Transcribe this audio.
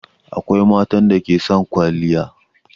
Akwai matan da ke son kwaliya.